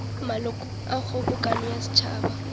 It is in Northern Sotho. malokong a kgobokano ya setšhaba